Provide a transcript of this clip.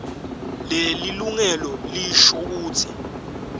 lelilungelo lisho kutsi